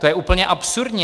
To je úplně absurdní.